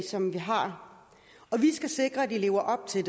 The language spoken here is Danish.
som vi har og vi skal sikre at de lever op til